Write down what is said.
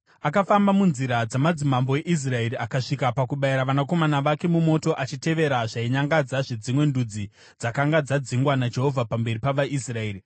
Akafamba munzira dzamadzimambo eIsraeri, akasvika pakubayira vanakomana vake mumoto achitevera zvainyangadza zvedzimwe ndudzi dzakanga dzadzingwa naJehovha pamberi pavaIsraeri.